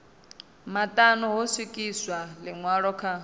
maṱanu ho swikiswa ḽiṅwalo kha